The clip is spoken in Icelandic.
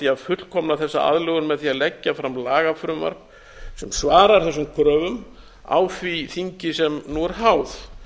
að fullkomna þessa aðlögun með því að leggja fram lagafrumvarp sem svarar þessum kröfum á því þingi sem nú er háð